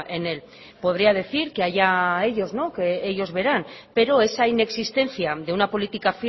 en él podría decir que allá ellos que ellos verán pero esa inexistencia de una política